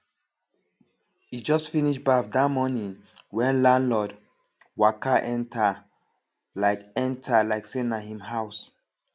e just finish baff that morning when landlord waka enter like enter like say na him house